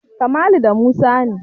Kamalu da Musa ne.